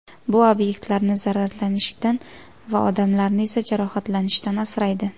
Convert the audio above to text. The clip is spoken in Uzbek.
Bu obyektlarni zararlanishdan va odamlarni esa jarohatlanishdan asraydi.